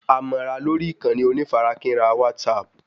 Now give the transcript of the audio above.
A mọ ra lórí ìkànnì onífarakínra WhatsApp